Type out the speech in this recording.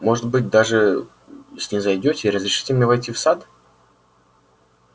может быть даже снизойдёте и разрешите мне войти в сад